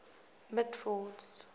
mitford's